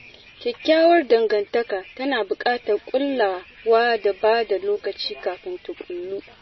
Kyakkyawar dangantaka tana buƙatar kulawa da ba da lokaci kafin ta ƙullu